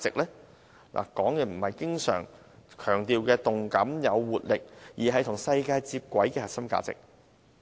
我說的不是政府經常強調的動感或活力，而是與世界接軌的核心價值。